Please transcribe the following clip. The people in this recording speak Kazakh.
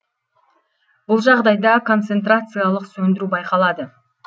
бұл жағдайда концентрациялық сөндіру байқалады